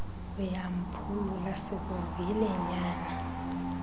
uyamphulula sikuvile nyana